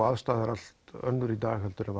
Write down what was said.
aðbúnaður er allt annar í dag en